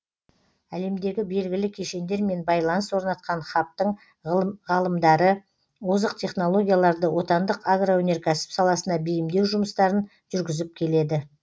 әлемдегі белгілі кешендермен байланыс орнатқан хабтың ғалымдары озық технологияларды отандық агроөнеркәсіп саласына бейімдеу жұмыстарын жүргізіп келеді